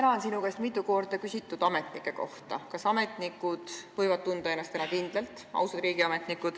Täna on sinu käest mitu korda küsitud ametnike kohta: kas ausad riigiametnikud võivad tunda ennast täna kindlalt?